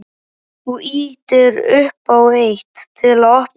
Þú ýtir upp á eitt. til að opna þetta.